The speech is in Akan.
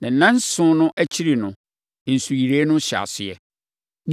Na nnanson no akyiri no, nsuyire no hyɛɛ aseɛ.